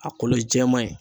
A kolo ye jɛman in